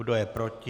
Kdo je proti?